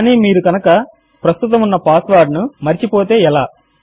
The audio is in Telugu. కానీ మీరు కనుక ప్రస్తుతము ఉన్న పాస్వర్డ్ ను మరచి పోతే ఎలా